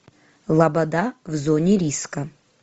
лобода в зоне риска